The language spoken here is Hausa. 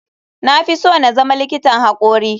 Na fi so na zama likitan hakori.